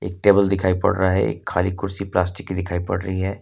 Table दिखाई पड़ रहा है एक खाली कुर्सी प्लास्टिक की दिखाई पड़ रही है।